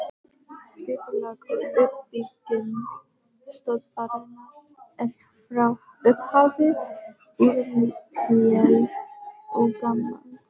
Skipulag og uppbygging stöðvarinnar er frá upphafi úrelt og gamaldags.